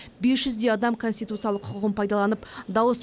бес жүздей адам конституциялық құқығын пайдаланып дауыс